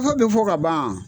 Sago bɛ fɔ ka ban